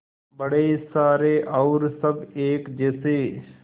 बड़े सारे और सब एक जैसे